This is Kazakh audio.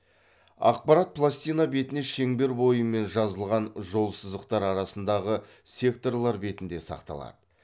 ақпарат пластина бетіне шеңбер бойымен жазылған жолсызықтар арасындағы секторлар бетінде сақталады